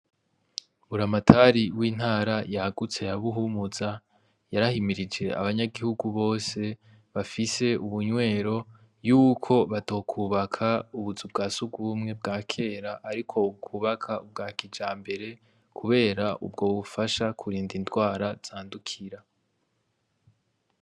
Buramatari w'intara yagutse ya Buhumuza yarahimirije abanyagihugu bose bafise ubunywero yuko batokubaka ubuzu bwa sugumwe bwa kera ariko bokubaka ubwa kijambere, kubera ubwo bufasha kurinda indwara zandukira.